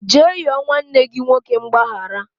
Jee yọọ nwanne gị nwoke mgbaghara